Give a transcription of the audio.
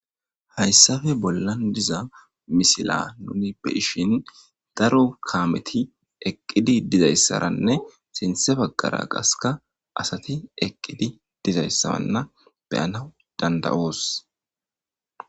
Hayssafe bollan diza misila nuni be7ishin daro kaameti eqqidi dizayssaranne sinte baggara qaska asati eqqidi dizayssaranna beyanawu dandayoos.